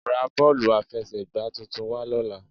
Ra bọ́ọ̀lù àfẹsẹ̀gbà tuntun wá lọ́la